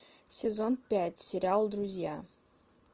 сезон пять сериал друзья